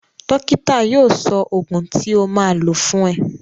Dókítà yóò sọ ògùn tí o máa lò fún ẹ